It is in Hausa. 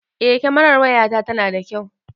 Eh kamerar waya ta tana da kyau.